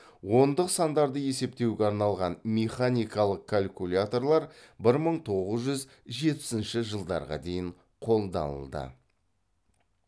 ондық сандарды есептеуге арналған механикалық калькуляторлар бір мың тоғыз жүз жетпісінші жылдарға дейін қолданылды